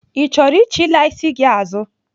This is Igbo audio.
Ị chọrọ ichilaa isi gị azụ?